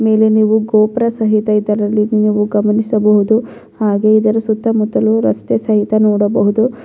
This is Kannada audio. ಮೇಲೆ ನೀವು ಗೋಪ್ರ ಸಹಿತ ಇದರಲ್ಲಿ ನೀವು ಗಮನಿಸಬಹುದು ಹಾಗೆ ಇದರ ಸುತ್ತ ಮುತ್ತಲು ರಸ್ತೆ ಸಹಿತ ನೋಡಬಹುದು.